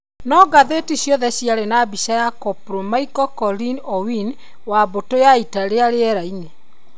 No ngathĩti ciothe ciarĩ na mbica ya 'Coplo Michael Collins Owino wa mbũtũ ya ita ya rĩera-inĩ".